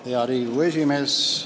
Hea Riigikogu esimees!